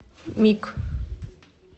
мик